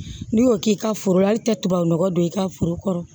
N'i y'o k'i ka foro la ali tɛ tubabunɔgɔ don i ka foro kɔrɔ